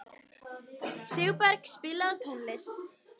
Sigurberg, spilaðu tónlist.